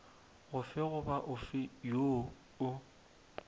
ofe goba ofe woo o